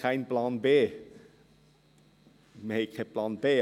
Wir haben keinen Plan B.